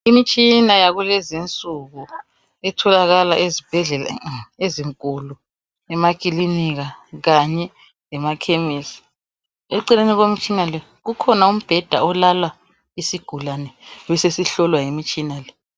Imitshina yakulezinsuku etholakala ezibhedlela ezinkulu, emakilinika kanye lemakhemisi. Eceleni kwemitshina le kukhona umbheda olala isigulane besesihlolwa yimitshina le.